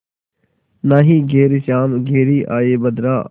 नाहीं घरे श्याम घेरि आये बदरा